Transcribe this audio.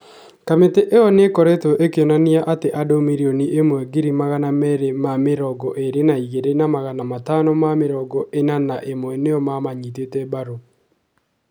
Kamĩtĩ ĩyo nĩ ĩkoretwo ĩkĩonania atĩ andũ mirioni ĩmwe ngiri magana merĩ ma mĩrongo ĩrĩ na igĩrĩ na magana matano ma mĩrongo ĩna na ĩmwe nĩ o mamanyitate mbaru.